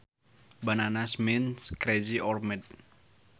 Bananas means crazy or mad